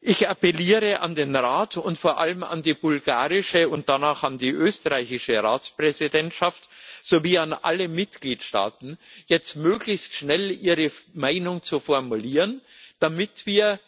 Ich appelliere an den Rat und vor allem an die bulgarische und danach an die österreichische Ratspräsidentschaft sowie an alle Mitgliedstaaten, jetzt möglichst schnell ihre Meinung zu formulieren, damit wir